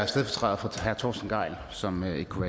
stedfortræder for herre torsten gejl som ikke kunne